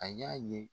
A y'a ye